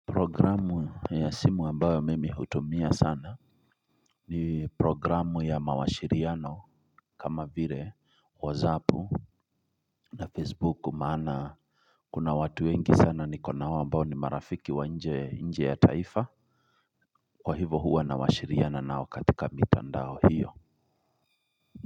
Programu ya simu ambayo mimi hutumia sana ni programu ya mawashiriano kama vire wazapu na facebook maana kuna watu wengi sana niko na wao ambayo ni marafiki wa nje nje ya taifa kwa hivo huwa na washiriana na wakatika mitandao hiyo. Kwa hivyo.